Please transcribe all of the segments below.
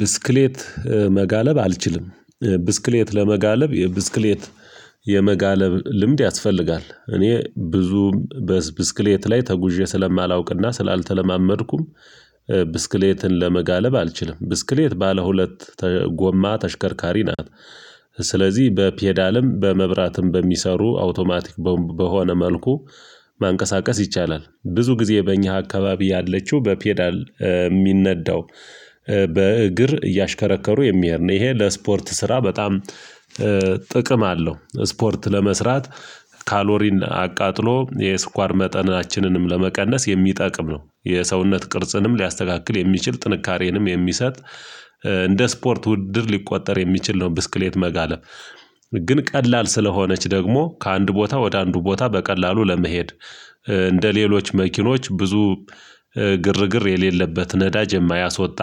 ብስክሌት መጋለብ አልችልም። ብስክሌት ለመጋለብ የብስክሌት የመጋለብ ልምድ ያስፈልጋል እኔ ብዙም በብስክሌት ላይ ተጉዤ ስለማላውቅና ስላልተለማመድኩም። ብስክሌትን ለመጋለብ አልችልም ብስክሌት ባለ ሁለት ጎማ ተሽከርካሪ ናት። ስለዚህ በፔዳልም በመብራትም በሚሰሩ አውቶማቲክ ቦምብ በሆነ መልኩ። ማንቀሳቀስ ይቻላል ብዙ ጊዜ በእኛ አካባቢ ያለችው በፔዳል የሚነዳው በእግር እያሽከረከሩ የሚሄድ ነው። ይሄ ለስፖርት ስራ በጣም ጥቅም አለው። ስፖርት ለመስራት ካሎሪን አቃጥሎ የስኳር መጠናችንንም ለመቀነስ የሚጠቅም ነው። የሰውነት ቅርጽንም ሊያስተካክል የሚችል ጥንካሬንም የሚሰጥ እንደ ስፖርት ውድድር ሊቆጠር የሚችል ነው። ብስክሌት መጋለብ ግን ቀላል ስለሆነች ደግሞ ከአንድ ቦታ ወደ አንዱ ቦታ በቀላሉ ለመሄድ። እንደ ሌሎች መኪኖች ብዙ ግርግር የሌለበት ነዳጅ የማያስወጣ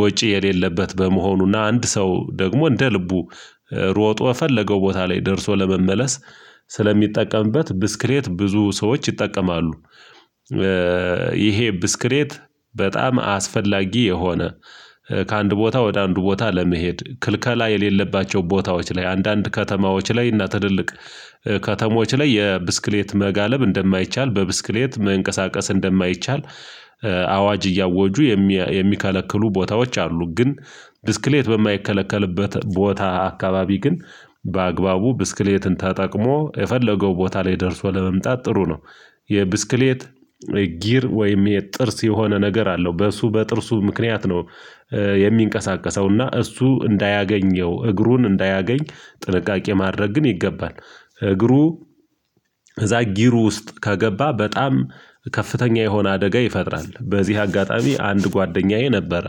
ወጪ የሌለበት በመሆኑና አንድ ሰው ደግሞ እንደ ልቡ ሮጦ የፈለገው ቦታ ላይ ደርሶ ለመመለስ ስለሚጠቀምበት ብስክሌት ብዙ ሰዎች ይጠቀማሉ። ይሄ ብስክሌት በጣም አስፈላጊ የሆነ ከአንድ ቦታ ወደ አንድ ቦታ ለመሄድ ክልከላ የሌለባቸው ቦታዎች ላይ አንዳንድ ከተማዎች ላይ እና ትልቅ ከተሞች ላይ የብስክሌት መጋለብ እንደማይቻል በብስክሌት መንቀሳቀስ እንደማይቻል አዋጅ እያወጁ የሚከለክሉ ቦታዎች አሉ። ግን ብስክሌት በማይከለከልበት ቦታ አካባቢ ግን በአግባቡ ብስክሌትን ተጠቅሞ የፈለገው ቦታ ላይ ደርሶ ለመምጣት ጥሩ ነው። የብስክሌት ጊር ወይም የጥርስ የሆነ ነገር አለው በእሱ በጥርሱ ምክንያት ነው። የሚንቀሳቀሰውና እሱ እንዳያገኘው እግሩን እንዳያገኝ ጥንቃቄ ማድረግ ግን ይገባል። እግሩ እዛ ጊሩ ውስጥ ከገባ በጣም ከፍተኛ የሆነ አደጋ ይፈጥራል። በዚህ አጋጣሚ አንድ ጓደኛዬ ነበር።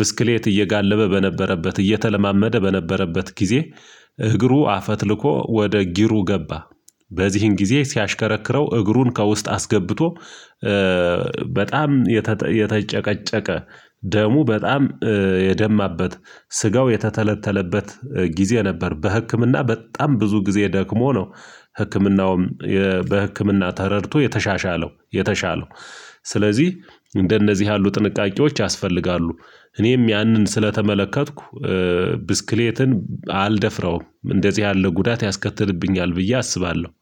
ብስክሌት እየጋለበ በነበረበት እየተለማመደ በነበረበት ጊዜ እግሩ አፈትልኮ ወደ ጊሩ ገባ። በዚህን ጊዜ ሲያሽከረክረው እግሩን ከውስጥ አስገብቶ በጣም የተጨቀጨቀ ደሙ በጣም የደማበት ስጋው የተተለተለበት ጊዜ ነበር። በህክምና በጣም ብዙ ጊዜ ደክሞ ነው። ህክምናውም በህክምና ተረድቶ የተሻሻለው የተሻለው ስለዚህ እንደነዚህ ያሉ ጥንቃቄዎች ያስፈልጋሉ። እኔም ያንን ስለተመለከትኩ ብስክሌትን አልደፍራውም እንደዚህ ያለ ጉዳት ያስከትልብኛል ብዬ አስባለሁ